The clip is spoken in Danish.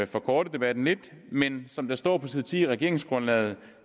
forkorte debatten lidt men som der står på side ti i regeringsgrundlaget